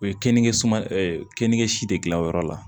O ye kenige suma keninke si de gilan o yɔrɔ la